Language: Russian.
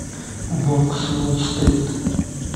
волк с уолл стрит